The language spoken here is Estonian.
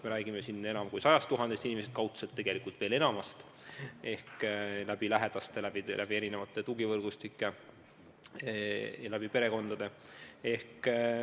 Me räägime otseselt enam kui 100 000 inimesest, kaudselt tegelikult veel enamatest – ma pean silmas lähedasi ja erinevaid tugivõrgustikke.